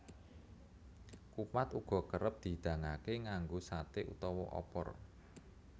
Kupat uga kerep dihidangaké nganggo saté utawa opor